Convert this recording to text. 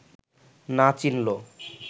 না চিনল